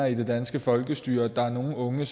i det danske folkestyre at der er nogen unge